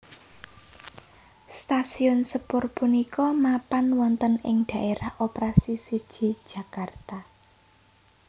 Stasiun sepur punika mapan wonten ing Dhaérah Operasi siji Jakarta